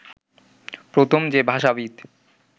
প্রথম যে ভাষাবিদ